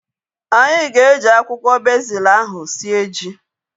Anyị ga-eji akwụkwọ bezil ahu sie ji